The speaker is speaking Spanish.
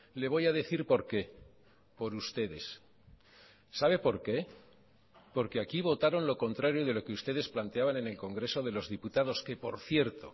le voy a decir por qué por ustedes sabe por qué porque aquí votaron lo contrario de lo que ustedes planteaban en el congreso de los diputados que por cierto